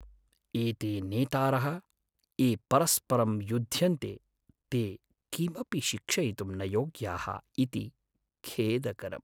एते नेतारः, ये परस्परं युध्यन्ते, ते किमपि शिक्षयितुं न योग्याः इति खेदकरम्।